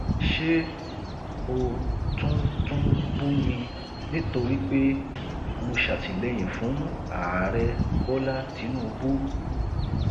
ṣebí ó tún tún bú mi nítorí pé mo ṣàtìlẹyìn fún ààrẹ bọlá tìǹbù